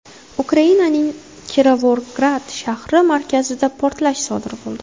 Ukrainaning Kirovograd shahri markazida portlash sodir bo‘ldi.